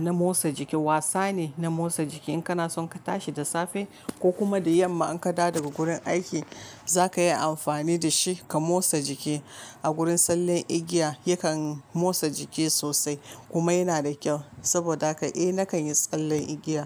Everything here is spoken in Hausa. na motsa jiki wasa ne na motsa jiki. In kana son ka tashi da safe ko kuma da yamma an kada daga gurin aiki zaka yi amfani da shi ka motsa jiki a gurin tsallen igiya ya kan motsa jiki sosai kuma yana da kyau saboda haka eh nakan yi tsallen igiya.